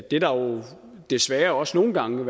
det der desværre også nogle gange